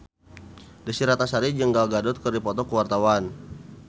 Desy Ratnasari jeung Gal Gadot keur dipoto ku wartawan